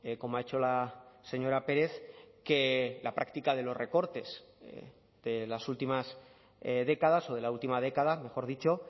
como ha hecho la señora pérez que la práctica de los recortes de las últimas décadas o de la última década mejor dicho